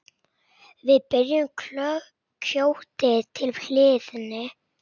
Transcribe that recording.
Við berjum kjötið til hlýðni.